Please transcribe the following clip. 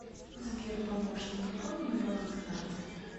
сбер помощник какой у меня баланс карты